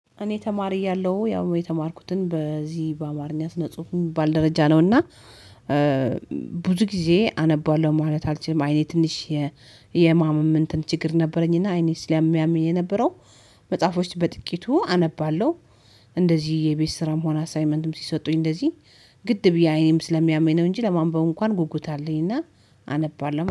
እኔ ተማሪ እያለው ያው የተማርኩትን በዚህ በአማርኛት ስነፅሁ የሚባል ደረጃ ነው። እና ብዙ ጊዜ አነባለሁ ማለት አልችልም። አይኔ ትንሽ የማምም እንትን ችግር ነበረኝ። እና አይኔ ስለሚያምኝ የነበረው መጽሐፎች በጥቂቱ አነባለሁ። እንደዚህ የቤት ስራም ሆነ አሳይመንትም ሲሰጡኝ እንደዚህ ግድ ብዬ አይኔም ስለሚያመኝ ነው። እንጂ ለማንበቡ እንኳን ጉጉት አለኝና አነባለሁ